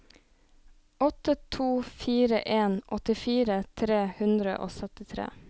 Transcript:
åtte to fire en åttifire tre hundre og syttitre